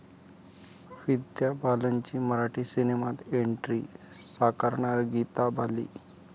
विद्या बालनची मराठी सिनेमात एंट्री, साकारणार गीता बाली!